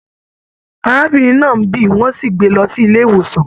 Arábìnrin náà n bí, wọn sì gbé lọ sílé ìwòsàn.